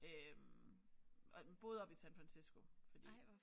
Øh og boede oppe i San Fransisco fordi